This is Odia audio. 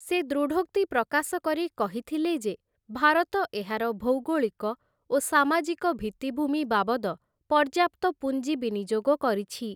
ସେ ଦୃଢ଼ୋକ୍ତି ପ୍ରକାଶ କରି କହିଥିଲେ ଯେ ଭାରତ ଏହାର ଭୌଗୋଳିକ ଓ ସାମାଜିକ ଭିତ୍ତିଭୂମି ବାବଦ ପର୍ଯ୍ୟାପ୍ତ ପୁଞ୍ଜିବିନିଯୋଗ କରିଛି ।